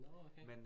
Nåh okay